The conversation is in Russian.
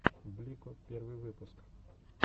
блико первый выпуск